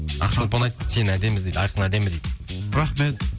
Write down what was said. ақшолпан айтты сен дейді айқын әдемі дейді рахмет